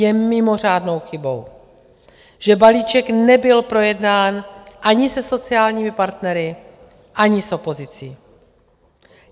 Je mimořádnou chybou, že balíček nebyl projednán ani se sociálními partnery, ani s opozicí.